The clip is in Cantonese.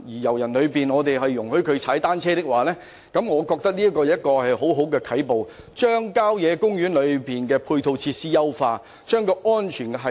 我認為如能容許遊人踏單車，將會是很好的啟步，既能優化郊野公園內的配套設施，亦能提高安全系數。